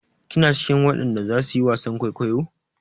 Kina cikin wadan da zasu yi wasan kwaikwayo?